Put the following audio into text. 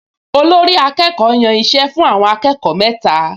Olórí-akẹ́kọ̀ọ́ yàn iṣẹ́ fún àwọn akẹ́kọ̀ọ mẹ́ta